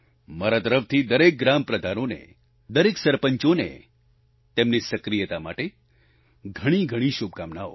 મારા તરફથી દરેક ગ્રામ પ્રધાનોને દરેક સરપંચોને તેમની સક્રિયતા માટે ઘણીઘણી શુભકામનાઓ